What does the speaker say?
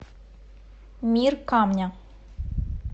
мир камня